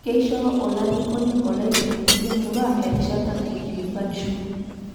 keisho olarikoni ollaitengeni le murrua erishata naikilikuanisho